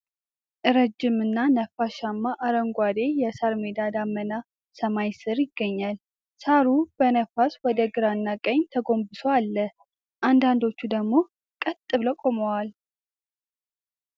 ረጅም እና ነፋሻማ አረንጓዴ የሳር ሜዳ ደመናማ ሰማይ ስር ይገኛል፡፡ ሳሩ በነፋስ ወደ ግራና ቀኝ ተጎንብሶ አለ፣ አንዳንዶቹ ደግሞ ቀጥ ብለው ቆመዋል፡፡